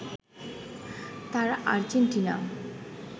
তারা আর্জেন্টিনা